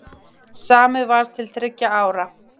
Samið var til þriggja ára.